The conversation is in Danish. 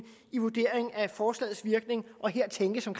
i vurderingen af forslagets virkning og her tænkes på